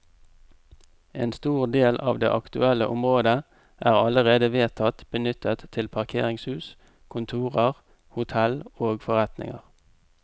En stor del av det aktuelle området er allerede vedtatt benyttet til parkeringshus, kontorer, hotell og forretninger.